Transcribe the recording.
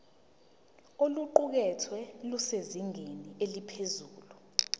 oluqukethwe lusezingeni eliphezulu